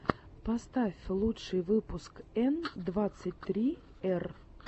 поставь лучший выпуск н двадцать три р